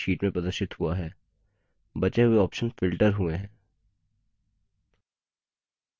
आप देखते है कि electricity bill से संबंधित data ही sheet में प्रदर्शित हुआ है